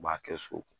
U b'a kɛ so